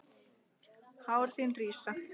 Hár þín rísa.